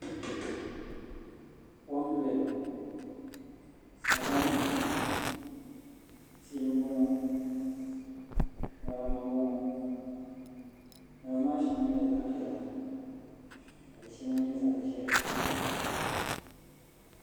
Kom n doya ŋo sagbana n boŋo tia n boŋo ŋarima n boŋo ŋarima maa shɛŋa nyɛla zaɣ piɛla ka di shɛŋa nyɛ zaɣ ʒiɛhi